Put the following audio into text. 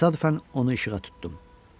Təsadüfən onu işığa tutdum.